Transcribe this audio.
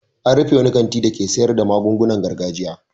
An rufe wani kanti dake sayar da magungunan gargajiya.